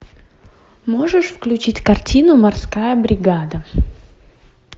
можешь включить картину морская бригада